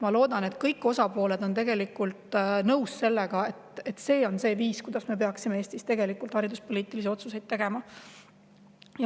Ma loodan, et kõik osapooled on tegelikult nõus sellega, et see on see viis, kuidas me peaksime Eestis hariduspoliitilisi otsuseid tegema.